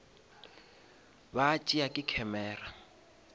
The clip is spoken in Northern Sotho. ba tšea ke camera